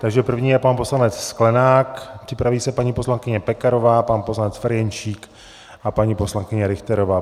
Takže první je pan poslanec Sklenák, připraví se paní poslankyně Pekarová, pan poslanec Ferjenčík a paní poslankyně Richterová.